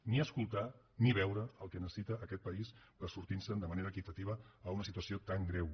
ni escoltar ni veure el que necessita aquest país per sortir se’n de manera equitativa en una situació tan greu